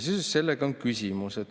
Seoses sellega on küsimus.